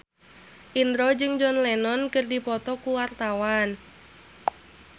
Indro jeung John Lennon keur dipoto ku wartawan